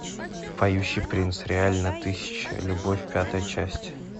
поющий принц реально тысяча любовь пятая часть